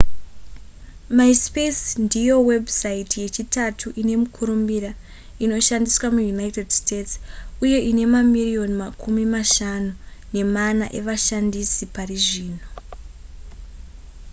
myspace ndiyo webhusaiti yechitatu ine mukurumbira inoshandisiwa muunited states uye ine mamirioni makumi mashanu nemana evashandisi pari zvino